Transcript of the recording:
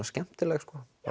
skemmtileg